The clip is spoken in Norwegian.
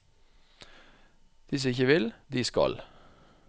De som ikke vil, de skal.